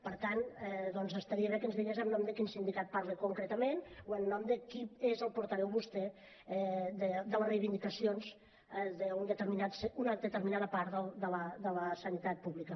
per tant doncs estaria bé que ens digués en nom de quin sindicat parla concretament o en nom de qui és el portaveu vostè de les reivindicacions d’una determinada part de la sanitat pública